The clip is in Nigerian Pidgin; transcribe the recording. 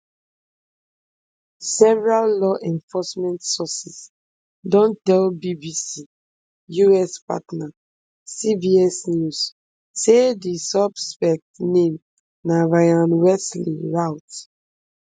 several law enforcement sources don tell bbc us partner cbs news say di suspect name na ryan wesley routh